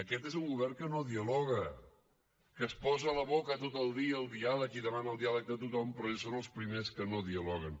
aquest és un govern que no dialoga que es posa a la boca tot el dia el diàleg i demana el diàleg de tothom però ells són els primers que no dialoguen